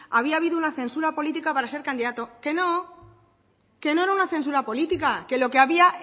había habido una censura política para ser candidato que no que no era una censura política que lo que había